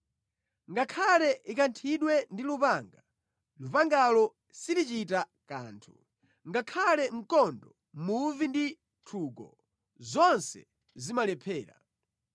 Ngakhale ikanthidwe ndi lupanga, lupangalo silichita kanthu, ngakhale mkondo, muvi ndi nthungo, zonse zimalephera.